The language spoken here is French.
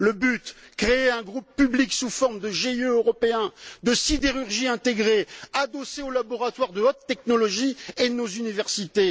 Le but créer un groupe public sous forme de GIE européen de sidérurgie intégrée, adossé aux laboratoires de haute technologie de nos universités.